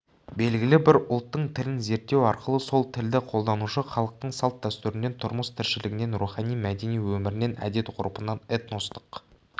белгілі бір ұлттың тілін зерттеу арқылы сол тілді қолданушы халықтың салт-дәстүрінен тұрмыс-тіршілігінен рухани-мәдени өмірінен әдет-ғұрпынан этностық